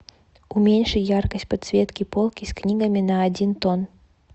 уменьши яркость подсветки полки с книгами на один тон